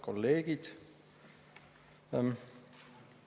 Kolleegid!